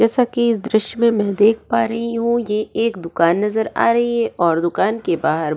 जैसा की इस दृश्य में मै देख पा रही हू ये एक दूकान नजर आ रही है और दूकान के बाहर --